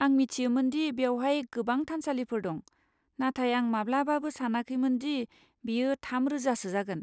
आं मिथियोमोन दि बेवहाय गोबां थानसालिफोर दं, नाथाय आं माब्लाबाबो सानाखैमोन दि बेयो थाम रोजासो जागोन।